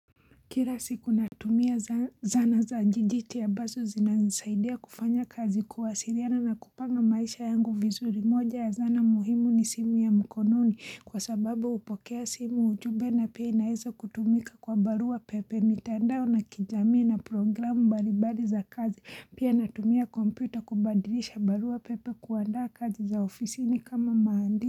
Kila siku natumia zana za jijiti ambasu zinasaidia kufanya kazi kuwasiriana na kupanga maisha yangu vizuri moja ya zana muhimu ni simu ya mkononi kwa sababa upokea simu ujube na pia inaeza kutumika kwa barua pepe mitandao na kijamii na programu bari bari za kazi pia natumia kompyuta kubadilisha barua pepe kuandaa kazi za ofisi ni kama maandini.